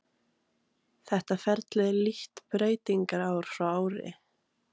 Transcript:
Þetta ferli er lítt breytilegt ár frá ári.